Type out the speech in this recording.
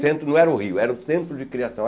Centro não era o Rio, era o centro de criação.